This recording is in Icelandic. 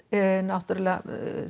náttúrulega